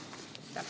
Aitäh!